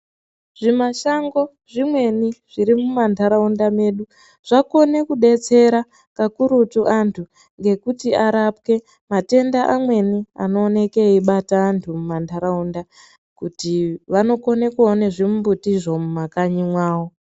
Zvimashango zvimweni zvirimumantaraunda medu zvakone kubetsera kakurutu antu ngekuti arapwe matenda amweni anooneke eibata antu mumantaraunda. Kuti vanokone kuone zvimbutizvo mumakanyi mwavo.